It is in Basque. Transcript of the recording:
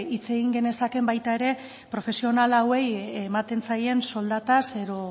hitz egin genezakeen baita ere profesional hauei ematen zaien soldataz edo